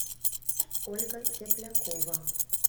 ольга теплякова